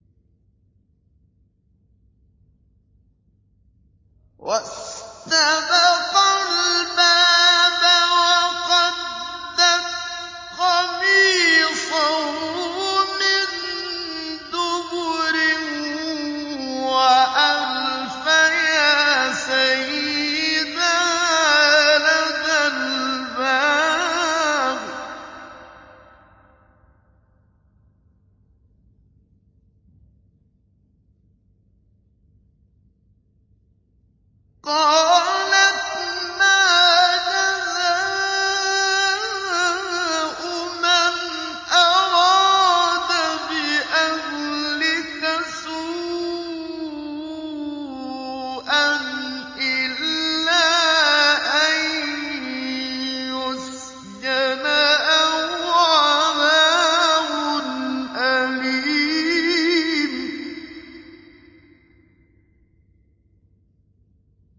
وَاسْتَبَقَا الْبَابَ وَقَدَّتْ قَمِيصَهُ مِن دُبُرٍ وَأَلْفَيَا سَيِّدَهَا لَدَى الْبَابِ ۚ قَالَتْ مَا جَزَاءُ مَنْ أَرَادَ بِأَهْلِكَ سُوءًا إِلَّا أَن يُسْجَنَ أَوْ عَذَابٌ أَلِيمٌ